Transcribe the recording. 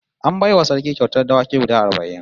An bai wa Sarki kyautar dawaki guda arba'in